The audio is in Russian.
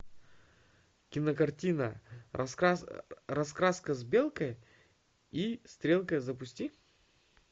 кинокартина раскраска с белкой и стрелкой запусти